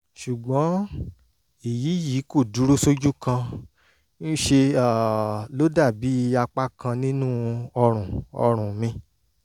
ṣùgbọ́n èyí yìí kò dúró sójú kan ń ṣe um ló dàbí àpá kan nínú ọrùn ọrùn mi